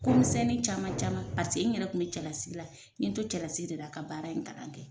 Ko misɛnnin caman caman paseke n yɛrɛ kun bɛ cɛlasigi la, n ye n to cɛlasigi de la a ka baara in kalan kɛ.